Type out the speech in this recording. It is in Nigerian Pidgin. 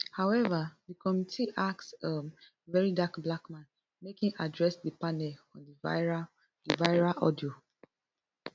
however di committee ask um verydarkblackman make im address di panel on di viral di viral audio